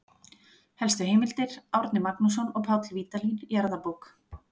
Helstu heimildir: Árni Magnússon og Páll Vídalín, Jarðabók.